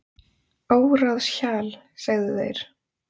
Óráðshjal, segðu þeir.